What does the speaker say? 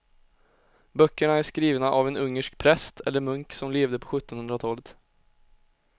Böckerna är skrivna av en ungersk präst eller munk som levde på sjuttonhundratalet.